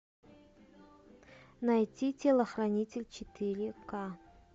найти телохранитель четыре ка